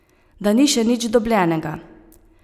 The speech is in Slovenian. Da ni še nič dobljenega.